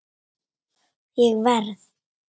Ég verð.